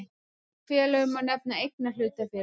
Slík félög má nefna eignahlutafélög.